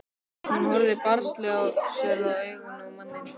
Hún horfir barnslega særðum augum á manninn.